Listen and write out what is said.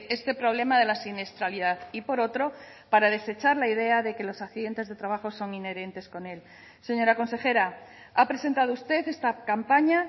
este problema de la siniestralidad y por otro para desechar la idea de que los accidentes de trabajo son inherentes con él señora consejera ha presentado usted esta campaña